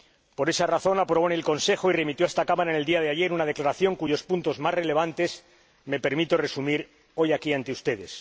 Por esa razón, aprobó en el Consejo y remitió a esta Cámara en el día de ayer una declaración cuyos puntos más relevantes me permito resumir hoy aquí ante ustedes.